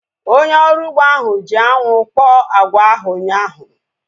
Onye ọrụ ugbo ahu ji anwụ kpọọ agwa ahu ụnyaahụ